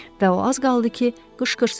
Və o az qaldı ki, qışqırsın.